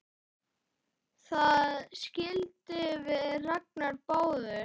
Það skildum við Ragnar báðir!